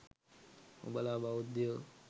උබලා බෞද්ධයෝ